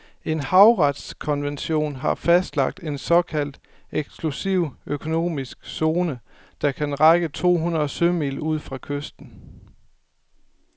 En havretskonvention har fastlagt en såkaldt eksklusiv økonomisk zone, der kan række to hundrede sømil ud fra kysten.